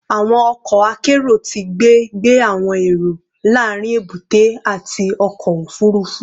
Awọn ọkọ akero ti ngbe gbe awọn ero laarin ebute ati ọkọ ofurufu